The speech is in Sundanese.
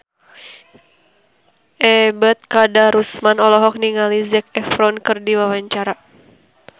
Ebet Kadarusman olohok ningali Zac Efron keur diwawancara